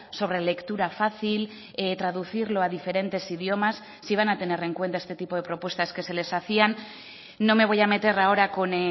sobre lectura fácil traducirlo a diferentes idiomas si van a tener en cuenta este tipo de propuestas que se les hacían no me voy a meter ahora con